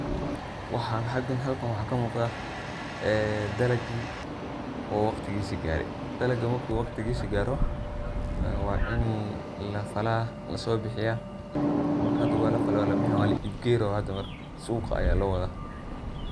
Waxa xaqan halka waxa kamuqda dalaqi oo waqtigisa garey, dalaga marku waqtigisa garo waa ini lafala, lasobixiya, marka hada walafaley walabixin wala ib geyni marka suqa aya lowada.